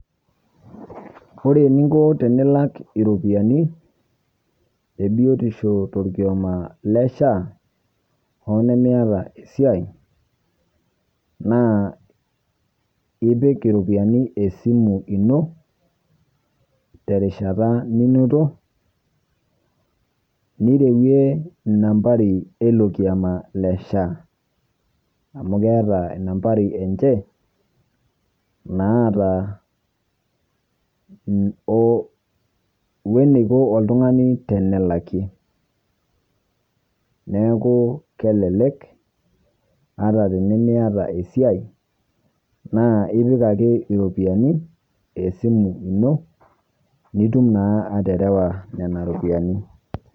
Ore niinko tinilak ropiani e biotisho torkioma le SHA onimieta esiai naa epiik ropiani esimu enoo te rishaata ninotoo nireuwe nambarii elo irkioma le SHA, amu keeta nambarii enchee naata o wueji neikoo oltung'ani tenelaki. Neeku kelelek ata tinimieta esiai naa ipiik ake ropiani esimu enoo nituum naa aterewa nena ropiani.